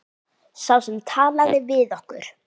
Sá sem talaði við okkur.